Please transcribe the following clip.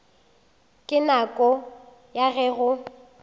ka nako ya ge go